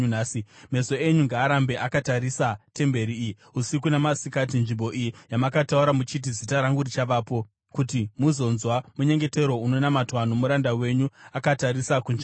Meso enyu ngaarambe akatarisa temberi iyi usiku namasikati, nzvimbo iyi yamakataura muchiti, ‘Zita rangu richavapo,’ kuti muzonzwa munyengetero unonamatwa nomuranda wenyu akatarisa kunzvimbo ino.